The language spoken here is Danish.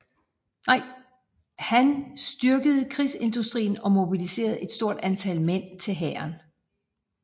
Han styrkede krigsindustrien og mobiliserede et stort antal mænd til hæren